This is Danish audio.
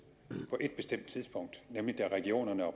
på ét bestemt tidspunkt nemlig da regionerne og